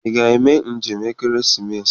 Ị ga-eme njem ekeresimesi?